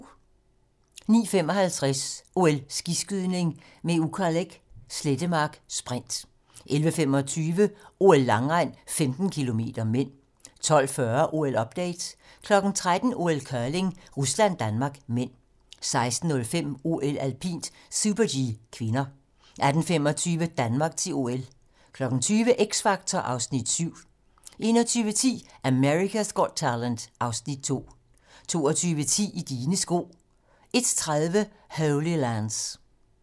09:55: OL: Skiskydning - med Ukaleq Slettemark, sprint 11:25: OL: Langrend - 15 km (m) 12:40: OL-update 13:00: OL: Curling - Rusland-Danmark (m) 16:05: OL: Alpint - super-G (k) 18:25: Danmark til OL 20:00: X Factor (Afs. 7) 21:10: America's Got Talent (Afs. 2) 22:10: I dine sko 01:30: Holy Lands